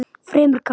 Fremur kalt.